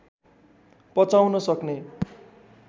पचाउन सक्ने